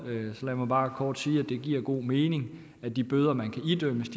så lad mig bare kort sige at det giver god mening at de bøder man kan idømmes